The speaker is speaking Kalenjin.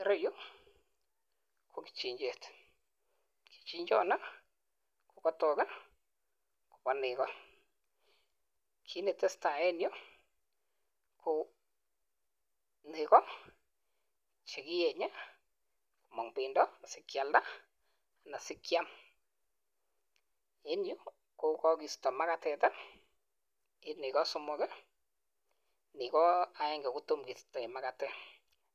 Ireyu ko kichinjet. Kichinjoni kogatok kobo nego. Kit ne tesetai en yu ko nego che kiyenye komong bendo asi kyalda anan asi kyam. En yu kogisto magatet en nego somok, artet agenge ko tomo kistoen magatet.